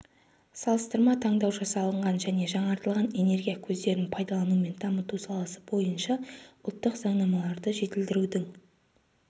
салыстырма талдау жасалынған және жаңартылатын энергия көздерін пайдалану мен дамыту саласы бойынша ұлттық заңнамаларды жетілдірудің